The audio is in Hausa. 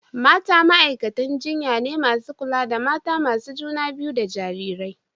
mata ma’aikatan jinya ne masu kula da mata masu juna biyu da jarirai.